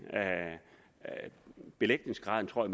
belægningsgraden tror